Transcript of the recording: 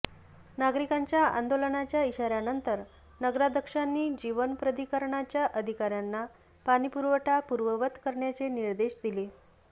नागरिकांच्या आंदोलनाच्या इशाऱ्यानंतर नगराध्यक्षांनी जीवन प्राधिकरणच्या अधिकाऱ्यांना पाणी पुरवठा पूर्ववत करण्याचे निर्देश दिले